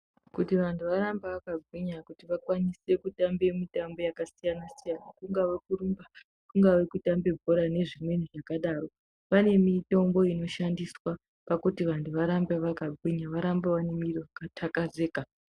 Kuti vantu varambe vaka gwinya kuti vakwanise kutambe mitambo yaka siyana siyana kungave kurumba kungave ku tambe bhora ne zvimweni zvaka daro vane mitombo ino shandiswa pakuti vantu varambe vaka gwinya varambe vane mwiri yaka takazika.